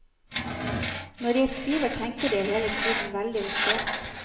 Når jeg skriver, tenker jeg hele tiden veldigt visuelt.